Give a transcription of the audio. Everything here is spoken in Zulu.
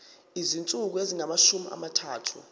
izinsuku ezingamashumi amathathu